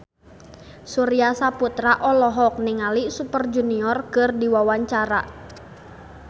Surya Saputra olohok ningali Super Junior keur diwawancara